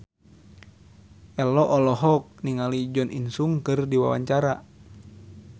Ello olohok ningali Jo In Sung keur diwawancara